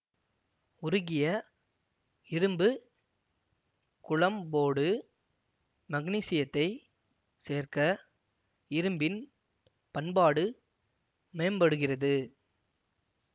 உருகிய இரும்பு குழம்போடு மக்னீசியத்தைச் சேர்க்க இரும்பின் பன்பாடு மேம்படுகிறது